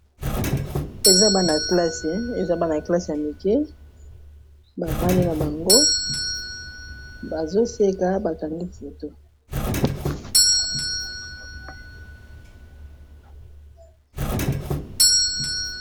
Eza bana classe ya mike bavandi na bango bazoseka bakangi foto.